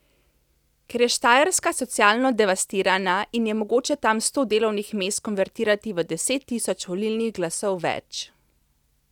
Ker je Štajerska socialno devastirana in je mogoče tam sto delovnih mest konvertirati v deset tisoč volilnih glasov več.